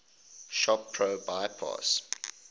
shop pro bypass